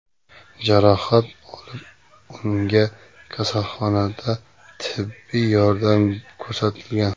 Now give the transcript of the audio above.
jarohat olib, unga kasalxonada tibbiy yordam ko‘rsatilgan.